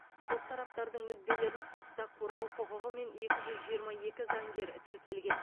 сот тараптардың мүдделерін сотта қорғау құқығымен екі жүз жиырма екі заңгер тіркелген